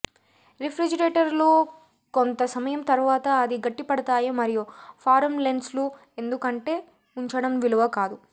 refrigerator లో కొంత సమయం తర్వాత అది గట్టిపడతాయి మరియు ఫారమ్ లెన్సులు ఎందుకంటే ఉంచడం విలువ కాదు